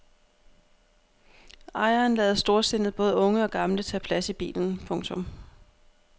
Ejeren lader storsindet både unge og gamle tage plads i bilen. punktum